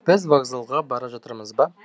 біз вокзалға бара жатырмыз ба